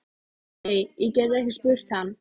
Nei, ég gæti ekki spurt hann.